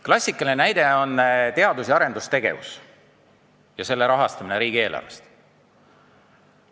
Klassikaline näide on teadus- ja arendustegevus ja selle rahastamine riigieelarvest.